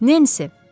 Nensi!